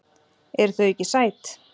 Eru þau ekki sæt?